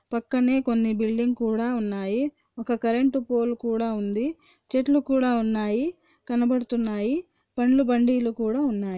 పక్కనే కొన్ని బిల్డింగ్స్ కూడా ఉన్నాయి ఒక్క కరెంటు పోల్ కూడా ఉంది చెట్లు కూడా ఉన్నాయి కనబతున్నాయి పండ్లు బండ్డిలు కూడా ఉన్నాయి.